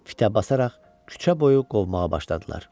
basaraq küçə boyu qovmağa başladılar.